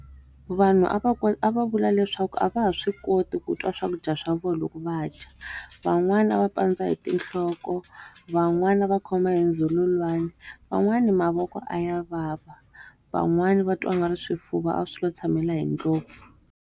Vanhu a va a va vula leswaku a va ha swi koti ku twa swakudya swa vona loko va dya. Van'wana a va pandza hi tinhloko van'wana a va khoma hi ndzhululwana, van'wani mavoko a ya vava. Van'wani va twa nga ri swifuva a swilo tshamela hi ndlopfu.